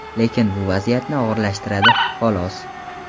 lekin bu vaziyatni og‘irlashtiradi xolos.